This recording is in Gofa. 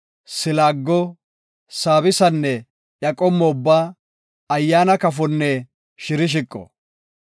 silaago, saabisanne iya qommo ubba, ayyaana kafonne shirshiqo.